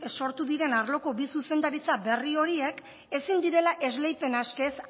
sortu diren arloko bi zuzendaritza berri horiek ezin direla esleipena eskez